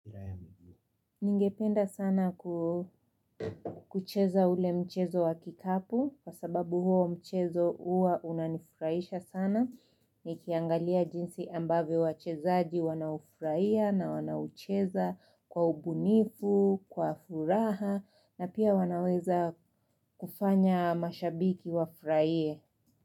Ningependa sana kucheza ule mchezo wa kikapu, kwa sababu huo mchezo huwa unanifurahisha sana, nikiangalia jinsi ambavyo wachezaaji wanaufurahia na wanaucheza kwa ubunifu, kwa furaha, na pia wanaweza kufanya mashabiki wafurahie.